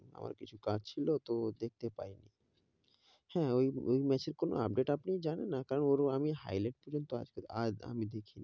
আমার কিছু কাজ ছিল তো দেখতে পাই নি, হেঁ, ওই match কোনো update আপনি জানেন, কারণ ওর আমি highlight পর্যন্ত আজকে আমি দেখে নি,